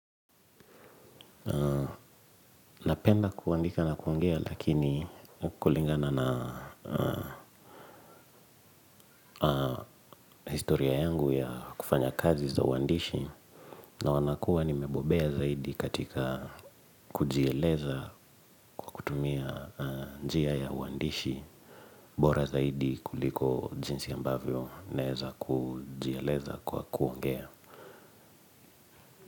Napenda kuandika na kuongea lakini kulingana na historia yangu ya kufanya kazi za uandishi na wanakuwa nimembobea zaidi katika kujieleza kutumia njia ya uandishi bora zaidi kuliko jinsi ambavyo naweza kujieleza kwa kuongea.